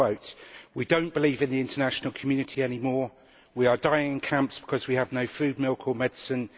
I quote We don't believe in the international community any more, we are dying in camps because we have no food, milk or medicine.